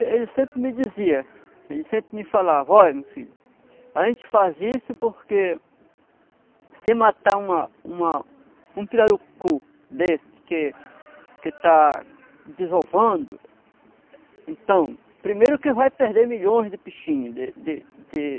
Ele sempre me dizia, ele sempre me falava, olha meu filho, a gente faz isso porque se matar uma uma um pirarucu desse que que está desovando, então, primeiro que vai perder milhões de peixinhos, de pirarucu.